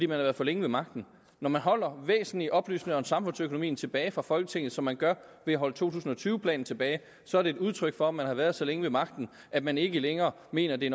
været for længe ved magten når man holder væsentlige oplysninger om samfundsøkonomien tilbage for folketinget som man gør ved at holde to tusind og tyve planen tilbage så er det et udtryk for at man har været så længe ved magten at man ikke længere mener at det